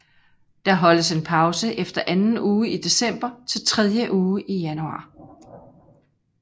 Der holdes en pause efter anden uge i december til tredje uge i januar